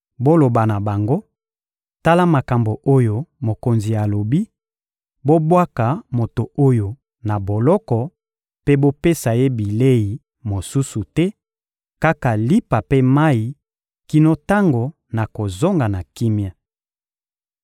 Boloba na bango: «Tala makambo oyo mokonzi alobi: ‹Bobwaka moto oyo na boloko mpe bopesa ye bilei mosusu te, kaka lipa mpe mayi kino tango nakozonga na kimia.›»